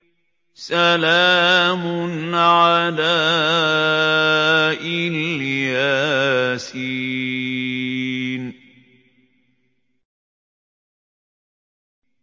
سَلَامٌ عَلَىٰ إِلْ يَاسِينَ